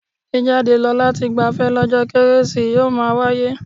Jíjade lọ lati gbafẹ́ lọ́jọ́ kérésì yóò máa wáyé.